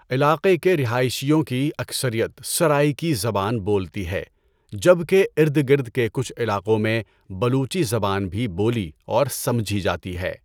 علاقے کے رہائشیوں کی اکثریت سرائیکی زبان بولتی ہے جبکہ ارد گرد کے کچھ علاقوں میں بلوچی زبان بھی بولی اور سمجھی جاتی ہے۔